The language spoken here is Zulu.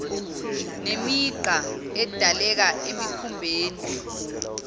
nemigqa edaleka esikhumbeni